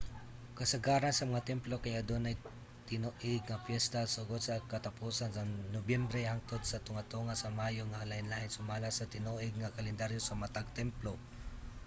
kasagaran sa mga templo kay adunay tinuig nga piyesta sugod sa katapusan sa nobyembre hangtod sa tunga-tunga sa mayo nga lain-lain sumala sa tinuig nga kalendaryo sa matag templo